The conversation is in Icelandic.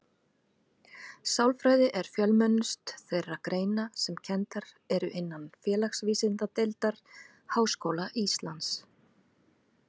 Sálfræði er fjölmennust þeirra greina sem kenndar eru innan Félagsvísindadeildar Háskóla Íslands.